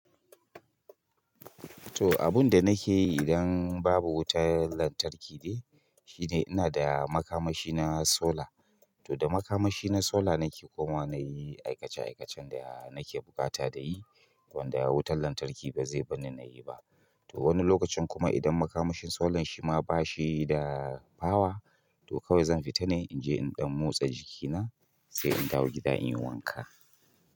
To abun da nake yi idan babu wutar lantarki ne, shine ina da makamashi na solar. To da makamashi na solar nake kuma nayi aikace-aikacen da nake buƙata da yi wanda wutar lantarki ba zai barni nayi ba. To wani lokacin kuma idan makamashin solar shi ma bashi da power, to kawai zan fita ne in je in ɗan motsa jikina sai in dawo gida in yi wanka.